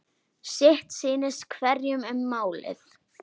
Sitt sýnist hverjum um málið.